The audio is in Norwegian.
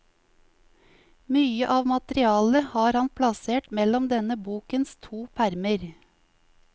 Mye av materialet har han plassert mellom denne bokens to permer.